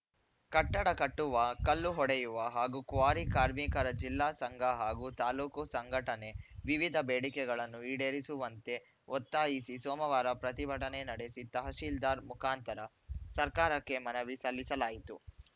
ಕಟ್ಟಡ ಕಟ್ಟುವ ಕಲ್ಲು ಹೊಡೆಯವ ಹಾಗೂ ಕ್ವಾರಿ ಕಾರ್ಮಿಕರ ಜಿಲ್ಲಾ ಸಂಘ ಹಾಗೂ ತಾಲೂಕು ಸಂಘಟನೆ ವಿವಿಧ ಬೇಡಿಕೆಗಳನ್ನು ಈಡೇರಿಸುವಂತೆ ಒತ್ತಾಯಿಸಿ ಸೋಮವಾರ ಪ್ರತಿಭಟನೆ ನಡೆಸಿ ತಹಸೀಲ್ದಾರ್‌ ಮುಖಾಂತರ ಸರ್ಕಾರಕ್ಕೆ ಮನವಿ ಸಲ್ಲಿಸಲಾಯಿತು